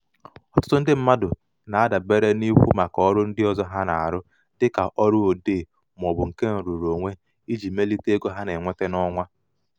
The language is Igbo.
ọtụtụ ndị mmadụ na-adabere n'ikwu maka ọrụ ndị ọzọ ha na-arụ dịka ọrụ odee maọbụ nke nrụrụonwe iji melite ego ha na-enweta n'ọnwa.